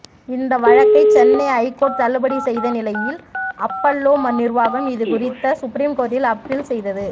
இந்த வழக்கை சென்னை ஐகோர்ட் தள்ளுபடி செய்த நிலையில் அப்பல்லோ நிர்வாகம் இதுகுறித்து சுப்ரீம் கோர்ட்டில் அப்பீல் செய்தது